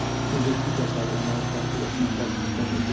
investisiya proqramları çərçivəsində tərəfimizdən icra olunur.